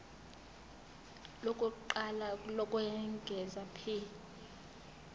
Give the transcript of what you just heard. lokuqala lokwengeza p